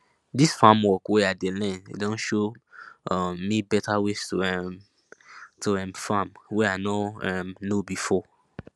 dis farm work wey i dey learn don show um me better ways to um to um farm wey i no um know before